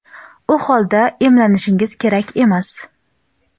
u holda emlanishingiz kerak emas.